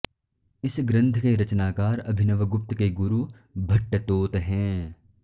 इस ग्रंथ के रचनाकार अभिनवगुप्त के गुरु भट्टतोत हैं